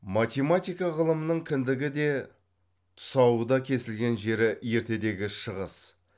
математика ғылымының кіндігі де тұсауы да кесілген жері ертедегі шығыс